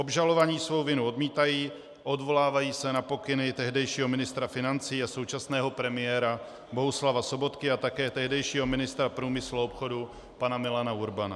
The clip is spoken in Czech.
Obžalovaní svou vinu odmítají, odvolávají se na pokyny tehdejšího ministra financí a současného premiéra Bohuslava Sobotky a také tehdejšího ministra průmyslu a obchodu pana Milana Urbana.